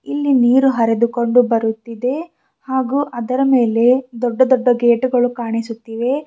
ಇಲ್ಲಿ ನೀರು ಹರಿದುಕೊಂಡು ಬರುತ್ತಿದೆ ಹಾಗೂ ಅದರ ಮೇಲೆ ದೊಡ್ಡ ದೊಡ್ಡ ಗೇಟುಗಳು ಕಾಣಿಸುತ್ತಿವೆ.